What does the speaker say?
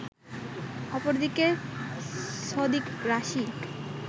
অপরদিকে সদিক রাশি